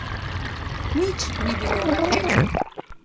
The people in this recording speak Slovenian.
Nič ni bilo na tem.